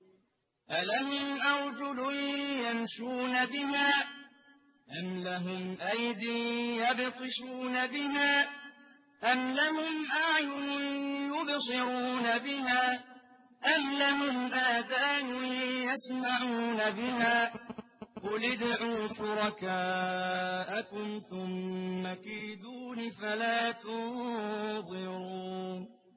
أَلَهُمْ أَرْجُلٌ يَمْشُونَ بِهَا ۖ أَمْ لَهُمْ أَيْدٍ يَبْطِشُونَ بِهَا ۖ أَمْ لَهُمْ أَعْيُنٌ يُبْصِرُونَ بِهَا ۖ أَمْ لَهُمْ آذَانٌ يَسْمَعُونَ بِهَا ۗ قُلِ ادْعُوا شُرَكَاءَكُمْ ثُمَّ كِيدُونِ فَلَا تُنظِرُونِ